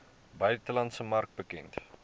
buitelandse mark bekend